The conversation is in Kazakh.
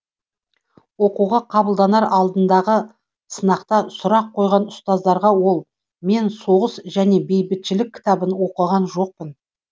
оқуға қабылданар алдындағы сынақта сұрақ қойған ұстаздарға ол мен соғыс және бейбітшілік кітабын оқыған жоқпын